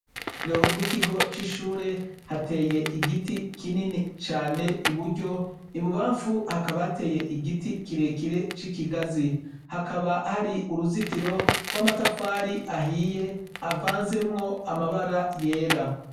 Urugo rwikigo cishure hateye igiti kinini cane iburyo ibubamfu hakaba hateye igiti kirekire cikigazi hakaba hari uruzitiro rwamatafari ahiye avanzemwo amabara yera